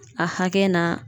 A hakɛ n'a